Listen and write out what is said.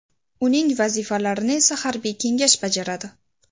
Uning vazifalarini esa harbiy kengash bajaradi.